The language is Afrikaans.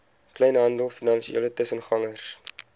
kleinhandel finansiële tussengangers